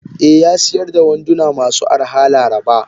Eh yasiyar da wanduna masu arha laraba.